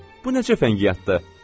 Bu necə fəngiyatdır?